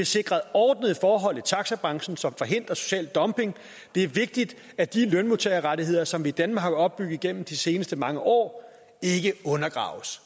sikret ordnede forhold i taxabranchen som forhindrer social dumping det er vigtigt at de lønmodtagerrettigheder som vi i danmark har opbygget gennem de seneste mange år ikke undergraves